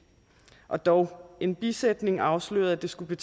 og dog en bisætning afslørede at det skulle